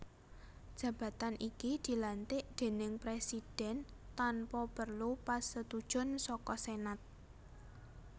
Jabatan iki dilantik déning Presidhèn tanpa perlu pasetujon saka Senat